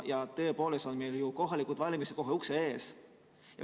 Meil on ju kohalikud valimised kohe ukse ees.